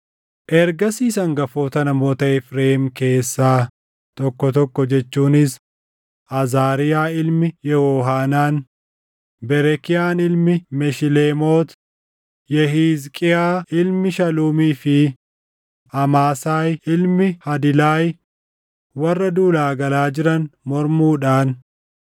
Ergasiis hangafoota namoota Efreem keessaa tokko tokko jechuunis Azaariyaa ilmi Yehohaanaan, Berekiyaan ilmi Meshileemoot, Yehiizqiiyaa ilmi Shaluumii fi Amaasaayi ilmi Hadilaay warra duulaa galaa jiran mormuudhaan